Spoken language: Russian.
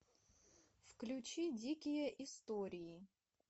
включи дикие истории